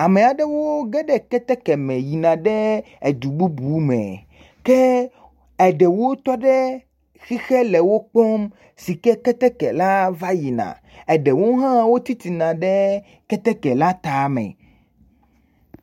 Ame aɖewo ge ɖe keteke me yina ɖe edu bubu me ke erɖwo tɔ ɖe xixe le wo kpɔm si ke ketek la va yina, eɖewo hã ti te ɖe keteke la tame.